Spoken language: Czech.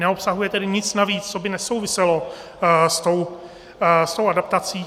Neobsahuje tedy nic navíc, co by nesouviselo s tou adaptací.